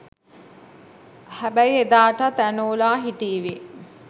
හැබැයි එදාටත් ඇනෝලා හිටීවි